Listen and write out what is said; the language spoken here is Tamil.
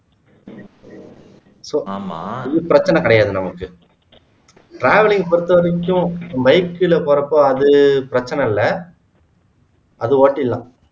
so இது பிரச்சனை கிடையாது நமக்கு travelling பொறுத்த வரைக்கும் bike ல போற அப்போ அது பிரச்சனை இல்ல அது ஓட்டிருலாம்